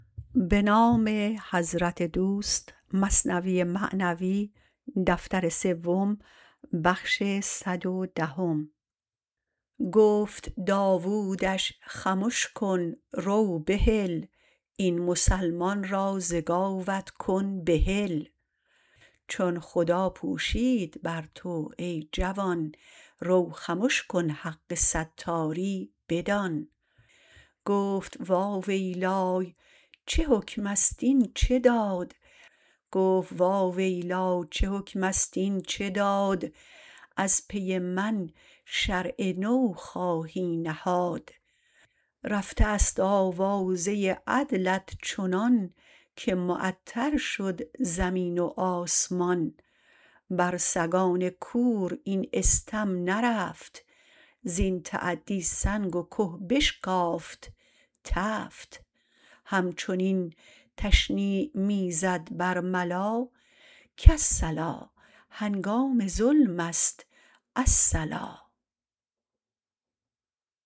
گفت داودش خمش کن رو بهل این مسلمان را ز گاوت کن بحل چون خدا پوشید بر تو ای جوان رو خمش کن حق ستاری بدان گفت وا ویلی چه حکمست این چه داد از پی من شرع نو خواهی نهاد رفته است آوازه عدلت چنان که معطر شد زمین و آسمان بر سگان کور این استم نرفت زین تعدی سنگ و که بشکافت تفت همچنین تشنیع می زد برملا کالصلا هنگام ظلمست الصلا